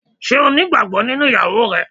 Ṣé o nígbàgbọ́ nínú ìyàwó rẹ?